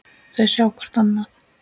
Þau sjá hvort annað.